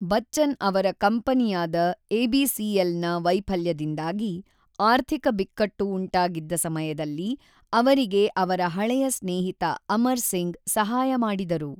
ಬಚ್ಚನ್ ಅವರ ಕಂಪನಿಯಾದ ಎಬಿಸಿಎಲ್‌ನ ವೈಫಲ್ಯದಿಂದಾಗಿ ಆರ್ಥಿಕ ಬಿಕ್ಕಟ್ಟು ಉಂಟಾಗಿದ್ದ ಸಮಯದಲ್ಲಿ ಅವರಿಗೆ ಅವರ ಹಳೆಯ ಸ್ನೇಹಿತ ಅಮರ್‌ ಸಿಂಗ್ ಸಹಾಯ ಮಾಡಿದರು.